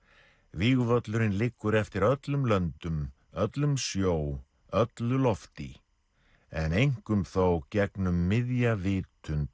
vígvöllurinn liggur eftir öllum löndum öllum sjó öllu lofti en einkum þó gegnum miðja vitund